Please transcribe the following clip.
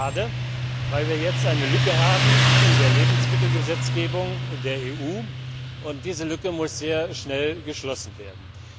Das ist schade, weil wir jetzt eine Lücke in der Lebensmittelgesetzgebung der EU haben, und diese Lücke muss sehr schnell geschlossen werden.